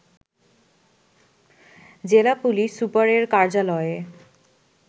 জেলা পুলিশ সুপারের কার্যালয়ে